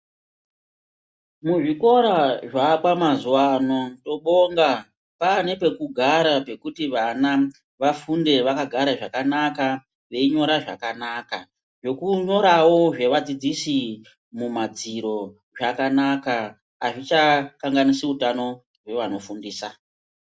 Muzvikora zvaakwa mazuva ano tinobonga pane pekugara pekuti vana vafunde vakagara zvakanaka veinyora zvakanaka. Zvekunyoravo zvevadzidzisi mumadziro zvakanaka hazvichakanganisi utano hwevanofundisa.